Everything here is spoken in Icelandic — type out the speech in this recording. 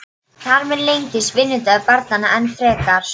Þar með lengist vinnudagur barnanna enn frekar.